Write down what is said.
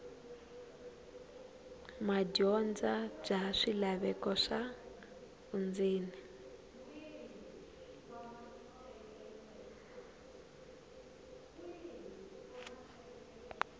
madyondza bya swilaveko swa vundzeni